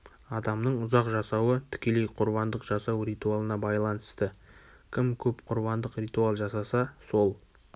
адамның ұзақ жасауы тікелей құрбандық жасау ритуалына байланысты кім көп құрбандық ритуал жасаса сол